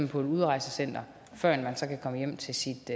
på et udrejsecenter førend man kan komme hjem til sit